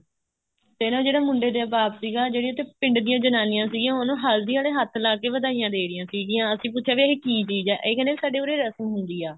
ਤੇ ਨਾ ਜਿਹੜਾ ਮੁੰਡੇ ਦਾ ਬਾਪ ਸੀਗਾ ਜਿਹੜੀਆਂ ਪਿੰਡ ਦੀਆਂ ਜਨਾਨੀਆਂ ਸੀਗੀਆਂ ਉਹ ਨਾ ਹਲਦੀ ਆਲੇ ਹੱਥ ਲਾਕੇ ਵਧਾਈਆਂ ਦੇ ਰਹੀਆਂ ਸੀਗੀਆਂ ਅਸੀਂ ਪੁੱਛਿਆ ਕੀ ਇਹ ਚੀਜ਼ ਹੈ ਇਹ ਕਹਿੰਦੇ ਸਾਡੇ ਉੱਰੇ ਰਸਮ ਹੁੰਦੀ ਆ